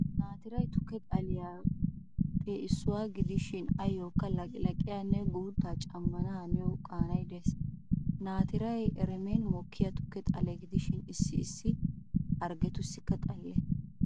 Natiray tukke xaliyaappe issuwaa gidishin ayyookka laqlaqiyaanne guutta cammana haniyaa qaanay de'ees. Natiray eremen mokkiyaa tukke xale gidishin issi issi hargetussikka xale.